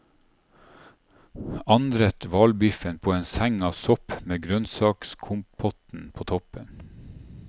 Anrett hvalbiffen på en seng av sopp med grønnsakskompotten på toppen.